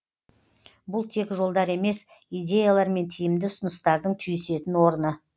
бұл тек жолдар емес идеялар мен тиімді ұсыныстардың түйісетін орны